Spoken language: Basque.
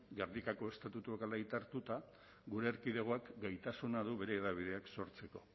gernikako estatutuak hala aitoruta gure erkidegoak gaitasuna du bere hedabideak sortzeko